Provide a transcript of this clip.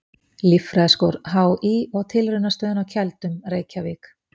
Líffræðiskor HÍ og Tilraunastöðin á Keldum, Reykjavík.